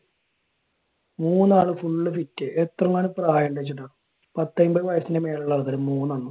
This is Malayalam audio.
മൂന്ന് ആൾ full fit എത്ര എങ്ങാണ്ട് പ്രായം ഇണ്ടെന്ന് വെച്ചിട്ട. പത്ത്, എൺപത് വയസ്സിന് മേളിലുള്ള ആൾക്കാർ. മൂന്നെണ്ണം.